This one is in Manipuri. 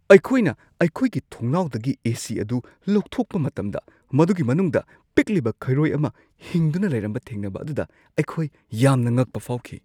ꯑꯩꯈꯣꯏ ꯑꯩꯈꯣꯏꯒꯤ ꯊꯣꯡꯅꯥꯎꯗꯒꯤ ꯑꯦ/ꯁꯤ ꯑꯗꯨ ꯂꯧꯊꯣꯛꯄ ꯃꯇꯝꯗ, ꯃꯗꯨꯒꯤ ꯃꯅꯨꯡꯗ ꯄꯤꯛꯂꯤꯕ ꯈꯩꯔꯣꯏ ꯑꯃ ꯍꯤꯡꯗꯨꯅ ꯂꯩꯔꯝꯕ ꯊꯦꯡꯅꯕ ꯑꯗꯨꯗ ꯑꯈꯣꯏꯅ ꯌꯥꯝꯅ ꯉꯛꯄ ꯐꯥꯎꯈꯤ ꯫